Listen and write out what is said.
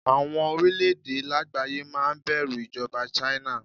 Àwọn orílẹ̀-èdè lágbàáyé máa bẹ̀rù ìjọba China.